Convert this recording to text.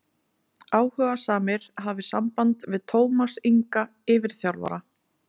Áhugasamir hafi samband við Tómas Inga yfirþjálfara.